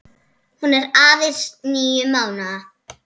Hún er aðeins níu mánaða.